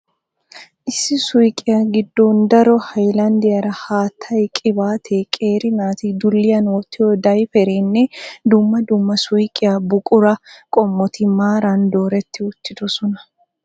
Issi suyiqiya giddon daro hayilanddiyaara haattay qibaatee, qeeri naati dulliyan wottiyo dayipereenne dumma dumma suyiqiya buqura qommoti maaran dooretti uttidosona.